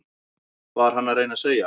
Var hann að reyna að segja